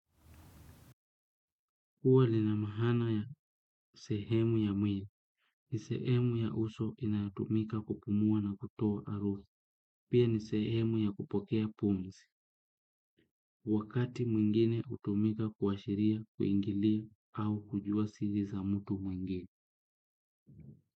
Kwa kuwa lina maana ya sehemu ya mwili, ni sehemu ya uso inatomika kupumua na kutoa harufu, pia ni sehemu ya kupokea pumzi, wakati mwingine hutumika kuashiria, kuingilia, au kujua siri za mtu mwingine.